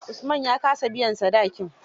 Usman ya ka sa biyan sadakin.